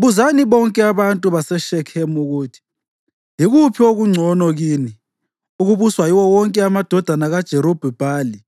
“Buzani bonke abantu baseShekhemu ukuthi, ‘Yikuphi okungcono kini: ukubuswa yiwo wonke amadodana kaJerubhi-Bhali